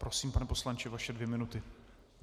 Prosím, pane poslanče, vaše dvě minuty.